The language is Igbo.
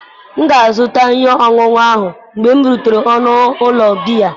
M ga-azụta ihe ọṅụṅụ ahụ mgbe m rutere n'ọnụ ụlọ biya.